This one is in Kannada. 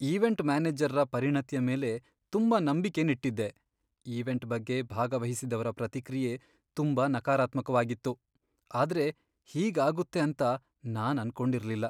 ಈವೆಂಟ್ ಮ್ಯಾನೇಜರ್ರ ಪರಿಣತಿಯ ಮೇಲೆ ತುಂಬಾ ನಂಬಿಕೆನ್ ಇಟ್ಟಿದ್ದೆ ಈವೆಂಟ್ ಬಗ್ಗೆ ಭಾಗವಹಿಸಿದವ್ರ ಪ್ರತಿಕ್ರಿಯೆ ತುಂಬಾ ನಕಾರಾತ್ಮಕವಾಗಿತ್ತು, ಆದ್ರೆ ಹೀಗ್ ಆಗುತ್ತೆ ಅಂತ ನಾನ್ ಅನ್ಕೊಂಡಿರ್ಲಿಲ್ಲ.